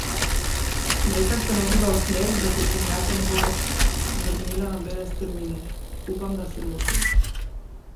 Smrekar se nagiba v smer, da se Črnjanka ne bo več vrnila na bele strmine: "Upam, da se motim.